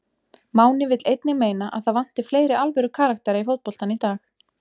Máni vill einnig meina að það vanti fleiri alvöru karaktera í fótboltann í dag.